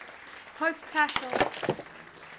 pope paschal